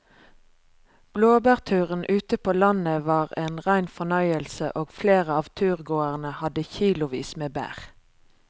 Blåbærturen ute på landet var en rein fornøyelse og flere av turgåerene hadde kilosvis med bær.